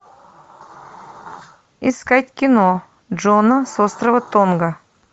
искать кино джона с острова тонга